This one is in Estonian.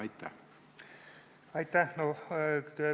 Aitäh!